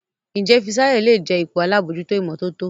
Njé Fisayo lẹ jé ipò àlabòjuto imototo?